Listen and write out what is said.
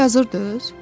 Siz yazırdız?